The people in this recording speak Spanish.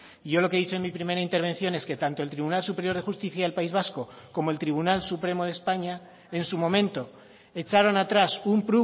y yo lo que he dicho en mi primera intervención es que tanto el tribunal superior de justicia del país vasco como el tribunal supremo de españa en su momento echaron atrás un